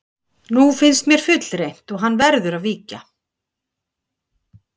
Nú finnst mér fullreynt og hann verður að víkja.